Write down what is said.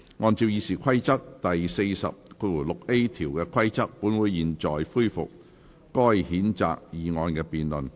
按照《議事規則》第40條的規定，本會現在恢復該譴責議案的辯論。